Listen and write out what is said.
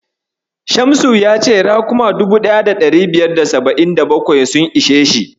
Shamsu ya ce raƙuma 1577 sun ishe shi.